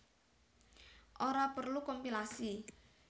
Ora perlu kompilasi